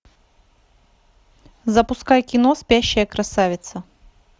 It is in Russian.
запускай кино спящая красавица